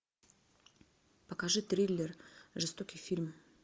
покажи триллер жестокий фильм